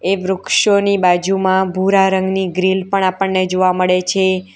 એ વૃક્ષોની બાજુમાં ભૂરા રંગની ગ્રીલ પણ આપણને જોવા મળે છે.